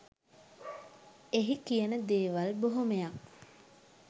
එහි කියන දේවල් බොහොමයක්